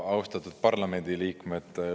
Austatud parlamendiliikmed!